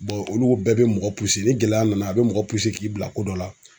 olu bɛɛ bɛ mɔgɔ ni gɛlɛya nana a bɛ mɔgɔ k'i bila ko dɔ la.